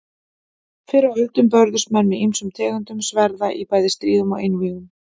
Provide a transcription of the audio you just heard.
Fyrr á öldum börðust menn með ýmsum tegundum sverða í bæði stríðum og einvígum.